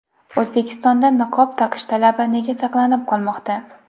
O‘zbekistonda niqob taqish talabi nega saqlanib qolmoqda?